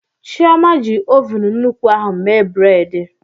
Chioma ji ovun nnukwu ahụ mee bredị.